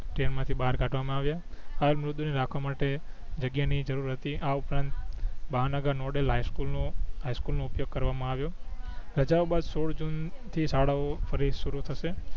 ટએમાં થી બાર કાઢવા માં આવિયા હર મુરદુ ને રાખવા માટે જગ્યા ની જરૂર હતી આ ઉપરાંત મહા નગર નોડે લાઇસકું નું હાઈસ્કૂલ નો ઉપયોગ કરવા માં અવિયો રજાઓ બાદ સોળ જૂન થી શાળા ઓ ફરી સૂરું થસે